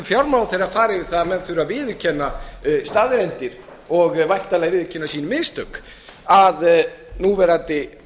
fjármálaráðherra fari í það að menn þurfi að viðurkenna staðreyndir og væntanlega viðurkenna sín mistök að núverandi